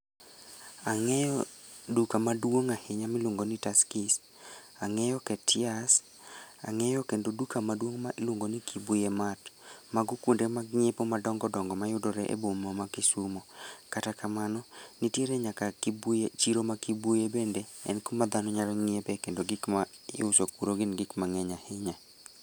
Ang'eyo duka maduong' ahinya miluongo ni Tuskys, ang'eyo Khetias, ang'eyo kendo duka maduong' ma iluongo ni Kibuye Matt. Mago kwonde mag ng'iepo madongodongo mayudore e boma ma Kisumu. Kata kamano, niteire nyaka Kibuye chiro ma Kibuye bende. En kuma dhano nyalo ng'iepe kendo gik ma iuse kuro gin gik mang'eny ahinya